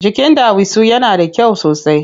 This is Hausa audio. Jikin ɗawisu yana da kyau sosai.